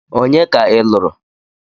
Onye ka ị lụrụ?